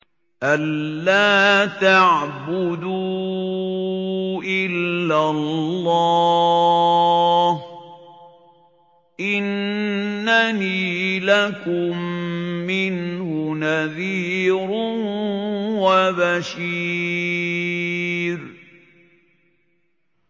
أَلَّا تَعْبُدُوا إِلَّا اللَّهَ ۚ إِنَّنِي لَكُم مِّنْهُ نَذِيرٌ وَبَشِيرٌ